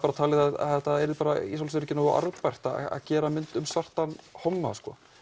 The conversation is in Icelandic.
talið að þetta yrði ekki nógu arðbært að gera mynd um svartan homma